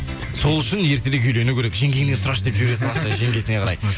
сол үшін ертерек үйлену керек жеңгеңнен сұрашы деп жібере жеңгесіне қарай